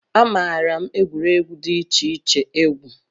Amaara m egwuregwu dị iche iche egwu